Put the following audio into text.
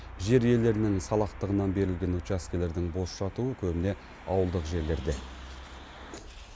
жер иелерінің салақтығынан берілген учаскелердің бос жатуы көбіне ауылдық жерлерде